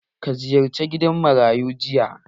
Ka ziyarce gidan marayu jiya?